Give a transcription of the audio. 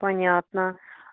понятно